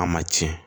A ma tiɲɛ